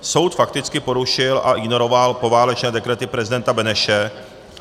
Soud fakticky porušil a ignoroval poválečné dekrety prezidenta Beneše,